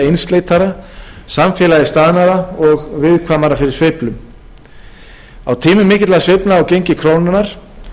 einsleitara samfélagið staðnaðra og viðkvæmara fyrir sveiflum á tímum mikilla sveiflna á gengi krónunnar